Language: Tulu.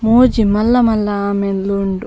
ಮೂಜಿ ಮಲ್ಲ ಮಲ್ಲ ಆಮೆಲೆ ಉಂಡು.